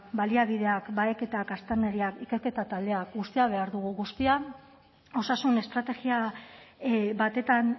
baliabideak baheketak aztarnariak ikerketa taldeak guztia behar dugu guztia osasun estrategia batetan